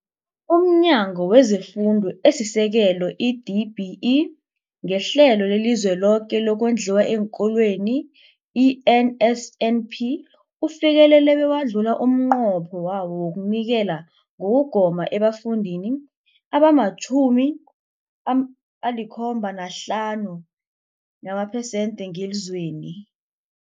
UmNyango wezeFundo esiSekelo, i-DBE, ngeHlelo leliZweloke lokoNdliwa eenKolweni, i-NSNP, ufikelele bewadlula umnqopho wawo wokunikela ngokugoma ebafundini abama-75 namaphesenthi ngelizweni.